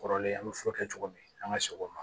Kɔrɔlen an bɛ furakɛ cogo min an ka segin o ma